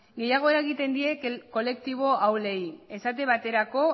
gehiago eragiten die kolektibo ahulei esate baterako